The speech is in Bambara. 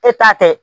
E t'a tɛ